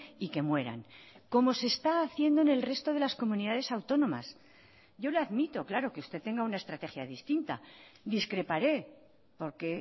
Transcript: y que mueran como se está haciendo en el resto de las comunidades autónomas yo le admito claro que usted tenga una estrategia distinta discreparé porque